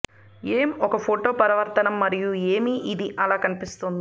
ఏం ఒక ఫోటో పరావర్తనం మరియు ఏమి ఇది అలా కనిపిస్తుంది